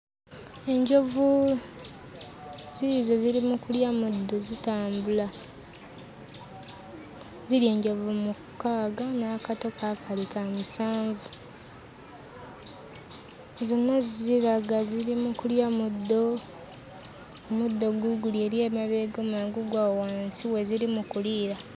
Enjovu ziizo ziri mu kulya muddo zitambula. Ziri enjovu mukaaga n'akato kaakali ka musanvu. Zonna ziraga ziri mu kulya muddo, muddo guuguli eri emabega omulala guugwo awo wansi we ziri mu kuliira.